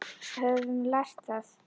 Höfum við lært það?